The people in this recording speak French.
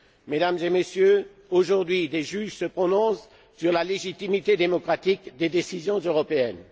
Mesdames et messieurs, aujourd'hui, des juges se prononcent sur la légitimité démocratique des décisions européennes.